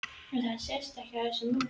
En það sést ekki á þessu móti?